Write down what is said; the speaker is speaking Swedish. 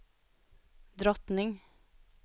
drottning